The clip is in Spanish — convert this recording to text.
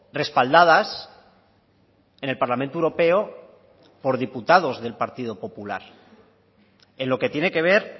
respaldadas en el parlamento europeo por diputados del partido popular en lo que tiene que ver